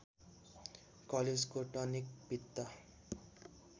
कलेजोको tonic पित्त